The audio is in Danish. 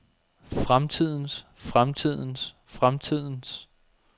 fremtidens fremtidens fremtidens